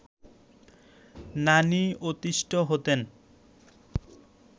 নানি অতিষ্ঠ হতেন